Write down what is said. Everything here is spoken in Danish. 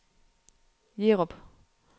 Jerup